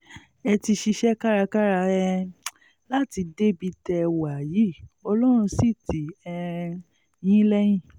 ẹ ti ṣiṣẹ́ kárakára um láti débi tẹ́ ẹ wà yìí ọlọ́run sì tì um yín lẹ́yìn